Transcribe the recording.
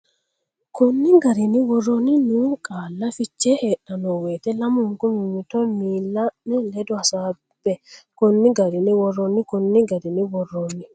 Konni garinni woroonni noo qaalla fiche heedhanno woyte lamunku mimmito miilla ne ledo hasaabbe Konni garinni woroonni Konni garinni woroonni.